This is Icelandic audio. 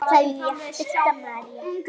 Kveðja, Birta María.